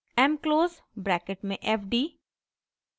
mclose bracket में fd: